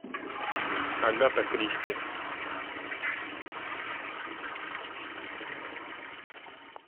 агата кристи